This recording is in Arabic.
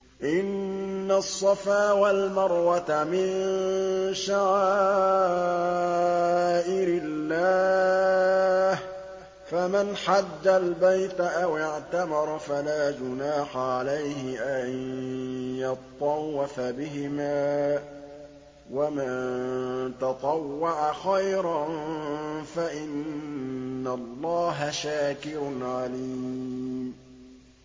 ۞ إِنَّ الصَّفَا وَالْمَرْوَةَ مِن شَعَائِرِ اللَّهِ ۖ فَمَنْ حَجَّ الْبَيْتَ أَوِ اعْتَمَرَ فَلَا جُنَاحَ عَلَيْهِ أَن يَطَّوَّفَ بِهِمَا ۚ وَمَن تَطَوَّعَ خَيْرًا فَإِنَّ اللَّهَ شَاكِرٌ عَلِيمٌ